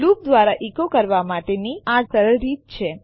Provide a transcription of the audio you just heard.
loop દ્વારા echo કરવા માટેની આ ખરેખર સરળ રીત છે